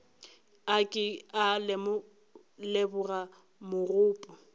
a ke a leboga mogopo